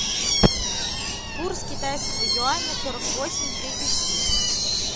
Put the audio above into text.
курс китайского юаня сорок восемь тридцать семь